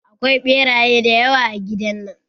Akwai ɓeraye dayawa a gidan nan.